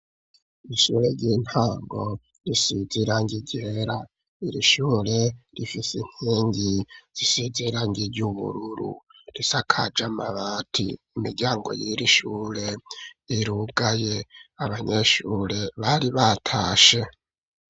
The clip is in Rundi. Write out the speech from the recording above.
Ishure ry'intango risiz'irangi ryera, irishure rifise inkingi zisize irangi ry,ubururu risakaje amabati, imiryango y'irishure irugaye, abanyeshure bari batashe.